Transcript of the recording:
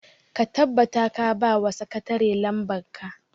ka tabbata ka ba wa sakatare lamban ka!